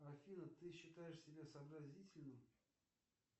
афина ты считаешь себя сообразительным